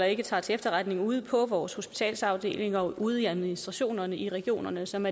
ikke tager til efterretning ude på vores hospitalsafdelinger og ude i administrationerne i regionerne som